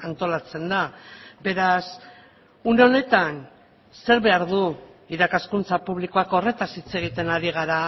antolatzen da beraz une honetan zer behar du irakaskuntza publikoak horretaz hitz egiten ari gara